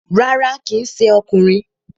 Rárá, kíì ṣe ọkùnrin